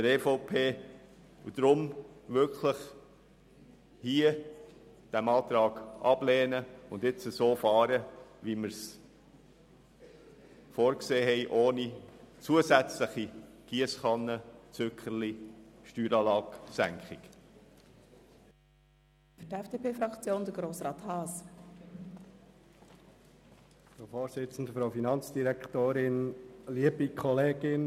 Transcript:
Deshalb bitten wir Sie, diesen Antrag abzulehnen und so vorzugehen, wie wir es vorgesehen haben, ohne weitere Giesskannenausschüttungen und Wahlzückerchen in Form einer Senkung der Steueranlage.